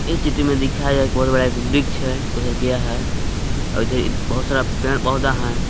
ये चित्र में दिखाया एक बहुत बड़ा एक वृक्ष है उधर गया है और इधर बहुत सारा पेड़ पौधा है।